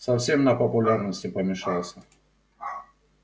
совсем на популярности помешался